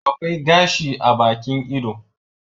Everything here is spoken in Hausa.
Akwai gashi a Bakin ido